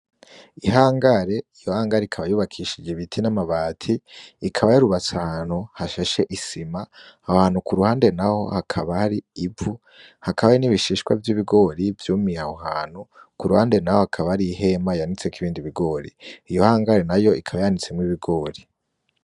Ihangare, iyo hangare ikaba yubakishije ibiti n'amabati, ikaba yarubatse ahantu hashashe isima aho hantu ku ruhande naho hakaba hari ivu hakaba n'ibishishwa vy'ibigori vyumiye aho hantu ku ruhande naho hakaba ari ihema yanitseko ibindi bigori iyo hangare nayo ikaba yanitsemwo ibigori.